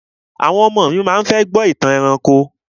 Àwọn ọmọ mi ma fẹ́ láti gbọ́ ìtàn ẹranko.